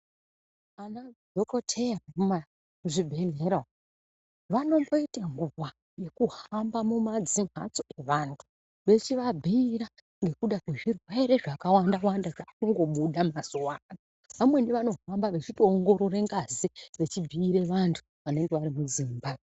Vana dhokodheya vemuzvibhedhlera vanomboita nguwa yekuhamba mumadzimbatso evantu vechivabhiira ngekuda kwezvirwere zvakwanda zvakungobuda mazuva ano zvskuti vanohamba vachingoongorara ngazi vechibhiira vantu vanenge vari muzimba.